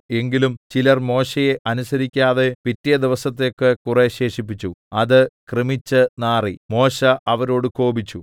എങ്കിലും ചിലർ മോശെയെ അനുസരിക്കാതെ പിറ്റേ ദിവസത്തേക്ക് കുറെ ശേഷിപ്പിച്ചു അത് കൃമിച്ച് നാറി മോശെ അവരോട് കോപിച്ചു